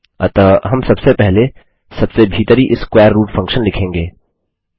अतः हम सबसे पहले सबसे भीतरी स्क्वेर रूट फंक्शन लिखेंगे